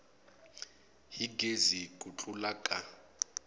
hi gezi ku tlula ka